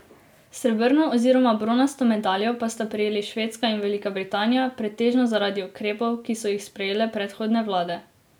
Srebrno oziroma bronasto medaljo pa sta prejeli Švedska in Velika Britanija, pretežno zaradi ukrepov, ki so jih sprejele predhodne vlade.